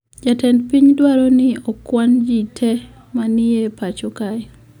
Jatend piny dwaro ni okwan jii te ma ni e pacho kae